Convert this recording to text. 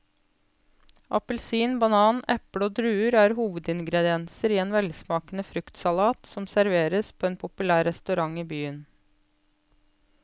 Appelsin, banan, eple og druer er hovedingredienser i en velsmakende fruktsalat som serveres på en populær restaurant i byen.